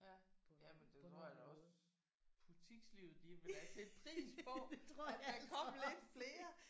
Ja jamen det tror jeg da også butikslivet de ville da sætte pris på at der kom lidt flere